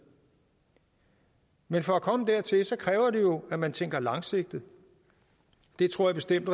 men for at komme dertil kræver det jo at man tænker langsigtet det tror jeg bestemt